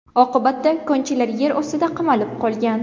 Oqibatda konchilar yer ostida qamalib qolgan.